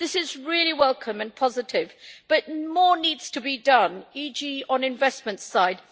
This is really welcome and positive, but more needs to be done, for example on the investment side.